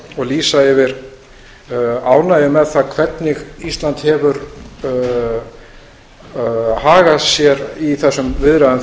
og lýsa yfir ánægju með það hvernig ísland hefur hagað sér í þessum viðræðum